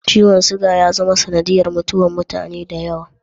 Ciwon suga ya zama sanadiyar mutuwar mutane da yawa.